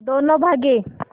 दोनों भागे